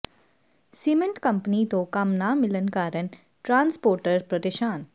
cement company ਤੋਂ ਕੰਮ ਨਾ ਮਿਲਣ ਕਾਰਨ ਟਰਾਂਸਪੋਰਟਰ ਪ੍ਰੇਸ਼ਾਨ